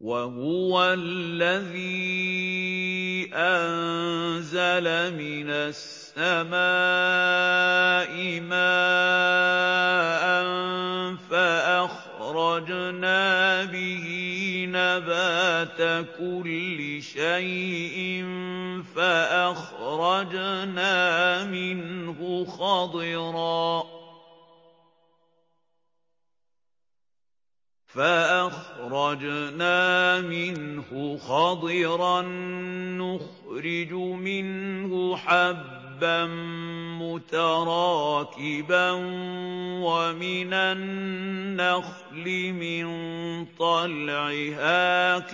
وَهُوَ الَّذِي أَنزَلَ مِنَ السَّمَاءِ مَاءً فَأَخْرَجْنَا بِهِ نَبَاتَ كُلِّ شَيْءٍ فَأَخْرَجْنَا مِنْهُ خَضِرًا نُّخْرِجُ مِنْهُ حَبًّا مُّتَرَاكِبًا وَمِنَ النَّخْلِ مِن طَلْعِهَا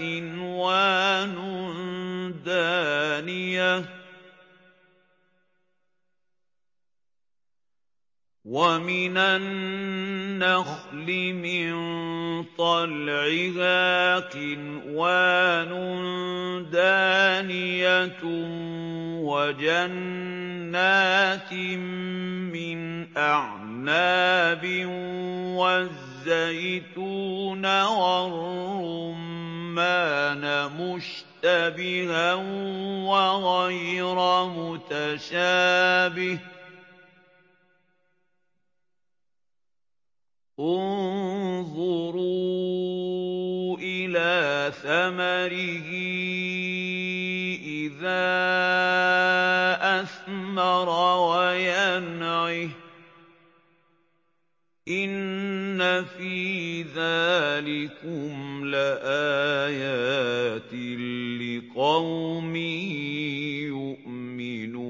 قِنْوَانٌ دَانِيَةٌ وَجَنَّاتٍ مِّنْ أَعْنَابٍ وَالزَّيْتُونَ وَالرُّمَّانَ مُشْتَبِهًا وَغَيْرَ مُتَشَابِهٍ ۗ انظُرُوا إِلَىٰ ثَمَرِهِ إِذَا أَثْمَرَ وَيَنْعِهِ ۚ إِنَّ فِي ذَٰلِكُمْ لَآيَاتٍ لِّقَوْمٍ يُؤْمِنُونَ